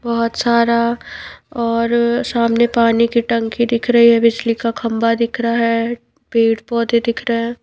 बहुत सारा और सामने पानी की टंकी दिख रही है बिजली का खंबा दिख रहा है पेड़ पौधे दिख रहे है।